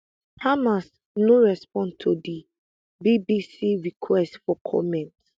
hamas no respond to di bbc request for comment